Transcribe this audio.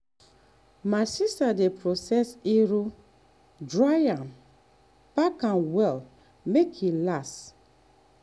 my sister dey process iru (locust beans) dry am pack am well make e last.